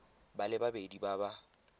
ba le babedi ba ba